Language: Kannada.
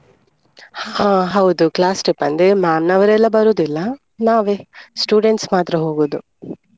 ಹಾ ಹೌದು class trip ಅಂದ್ರೆ ma'am ನವರೆಲ್ಲ ಬರುದಿಲ್ಲ ನಾವೇ students ಮಾತ್ರ ಹೋಗುದು.